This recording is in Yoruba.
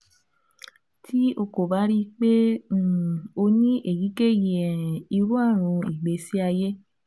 Ti o ko ba rii pe um o ni eyikeyi um iru arun igbesi aye